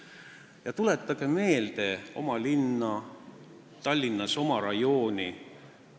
" Aga tuletage meelde oma linna, Tallinnas oma elurajooni!